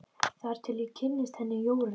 Þar til ég kynntist henni Jóru.